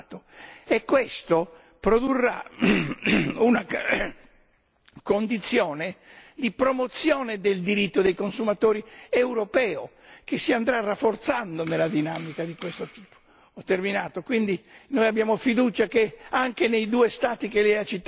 Prima di tutto che il livello medio di tutela dei consumatori è molto più elevato, e questo produrrà una condizione di promozione del diritto dei consumatori europeo che si andrà rafforzando in una dinamica di questo tipo.